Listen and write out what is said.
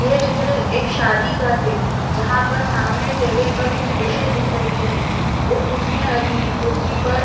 यह चित्र एक शादी का है जहाँ पर सामने टेबल पर कुछ डिशें दिख रही हैं और कुर्सियां रखी हैं कुर्सी पर--